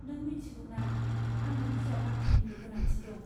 नों मिथिगौना, आंनो बिजाब बाख्रिनिबो गोनांथि दं।